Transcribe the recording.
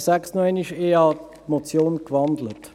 Ich habe die Motion gewandelt.